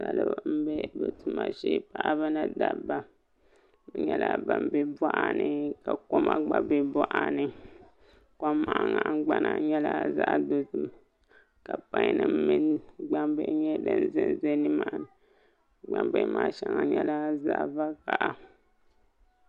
Salo n bɛ bi tuma shee paɣaba ni dabba bi nyɛla ban bɛ boɣa ni ka koma gba bɛ boɣa ni kom maa nahangbana nyɛla zaɣ dozim ka pai nim mini gbambihi nyɛ din ʒɛ nimaani gbambihi maa shɛŋa nyɛla zaɣ vakaɣi